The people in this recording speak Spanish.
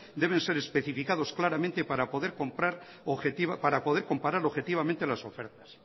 deben ser especificados claramente para poder comparar objetivamente las ofertas